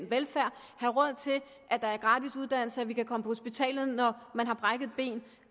velfærden have råd til at der er gratis uddannelse at man kan komme på hospitalet når man har brækket et ben